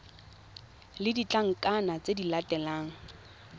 le ditlankana tse di latelang